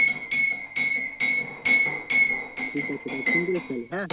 ঠিক আছে তাহলে phone করিস তাহলে হ্যাঁ